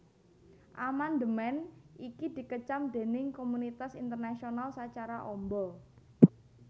Amandemèn iki dikecam déning komunitas internasional sacara amba